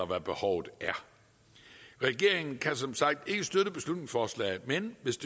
hvad behovet er regeringen kan som sagt ikke støtte beslutningsforslaget men hvis